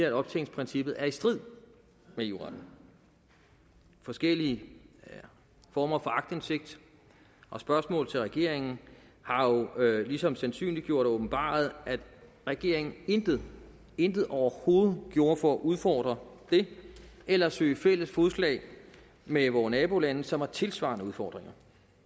at optjeningsprincippet er i strid med eu retten forskellige former for aktindsigt og spørgsmål til regeringen har jo ligesom sandsynliggjort og åbenbaret at regeringen intet intet overhovedet gjorde for at udfordre det eller søge fælles fodslag med vore nabolande som har tilsvarende udfordringer